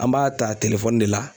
An b'a ta de la.